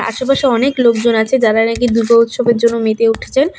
আশেপাশে অনেক লোকজন আছে যারা আর কি দুর্গোৎসবের জন্য মেতে উঠেছেন।